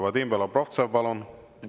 Vadim Belobrovtsev, palun!